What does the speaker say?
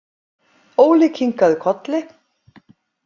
Óli kinkaði kolli.